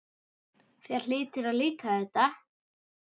Þér hlýtur að líka þetta?